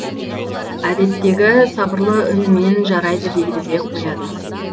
әдеттегі сабырлы үнімен жарайды дейді де қояды